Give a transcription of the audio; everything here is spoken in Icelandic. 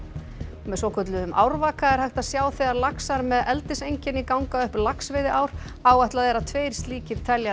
með svokölluðum árvaka er hægt að sjá þegar laxar með ganga upp laxveiðiár áætlað er að tveir slíkir teljarar